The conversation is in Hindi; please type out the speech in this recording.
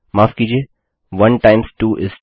माफ़ कीजिये1 टाइम्स 2 इस 2